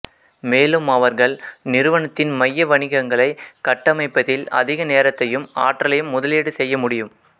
மேலும் அவர்கள் நிறுவனத்தின் மைய வணிகங்களைக் கட்டமைப்பதில் அதிக நேரத்தையும் ஆற்றலையும் முதலீடு செய்ய முடியும்